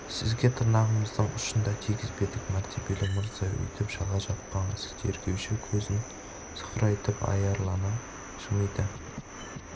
сізге тырнағымыздың ұшын да тигізбедік мәртебелі мырза өйтіп жала жаппаңыз тергеуші көзін сығырайтып аярлана жымиды